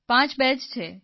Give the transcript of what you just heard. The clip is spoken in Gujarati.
પાંચ બે જ છે